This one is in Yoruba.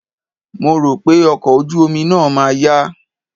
Mo rò pé ọkọ̀ ojú omi náà ma yá.